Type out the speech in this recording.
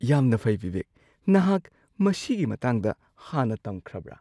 ꯌꯥꯝꯅ ꯐꯩ ꯕꯤꯕꯦꯛ! ꯅꯍꯥꯛ ꯃꯁꯤꯒꯤ ꯃꯇꯥꯡꯗ ꯍꯥꯟꯅ ꯇꯝꯈ꯭ꯔꯕ꯭ꯔ?